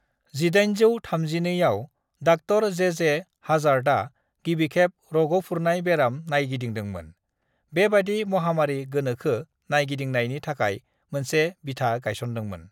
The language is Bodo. "1832 आव डॉ. जे.जे. ह'जॉर्टआ गिबिखेब रग'फुरनाय बेराम नायगिदिंदोंमोन, बेबादि महामारी गोनोखो नायगिदिंनायनि थाखाय मोनसे बिथा गायसनदोंमोन।"